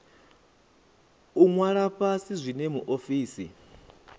u ṅwala fhasi zwine muofisi